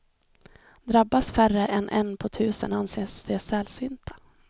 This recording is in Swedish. Drabbas färre än en på tusen anses de sällsynta.